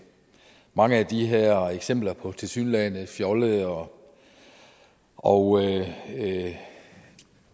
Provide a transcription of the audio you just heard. mange af de her eksempler på tilsyneladende fjollede og og